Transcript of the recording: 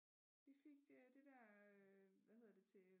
Vi fik øh det der til øh